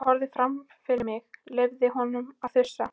Ég horfði fram fyrir mig, leyfði honum að þusa.